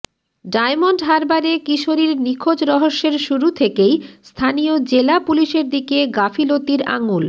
diamond হারবারে কিশোরীর নিখোঁজ রহস্যের শুরু থেকেই স্থানীয় জেলা পুলিশের দিকে গাফিলতির আঙুল